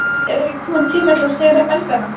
Er ekki kominn tími til að sigra Belgana?